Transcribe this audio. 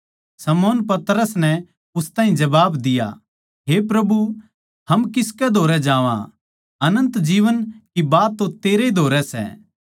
शमौन पतरस नै उस ताहीं जबाब दिया हे प्रभु हम किसकै धोरै जावां अनन्त जीवन की बात तो तेरैए धोरै सै